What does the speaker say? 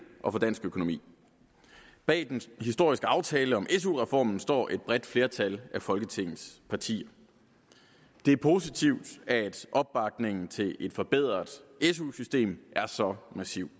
og for dansk økonomi bag den historiske aftale om su reformen står et bredt flertal af folketingets partier det er positivt at opbakningen til et forbedret su system er så massiv